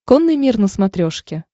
конный мир на смотрешке